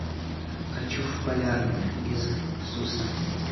хочу в полярный из суса